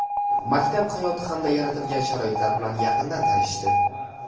maktab hayoti hamda yaratilgan sharoitlar bilan yaqindan tanishishdi.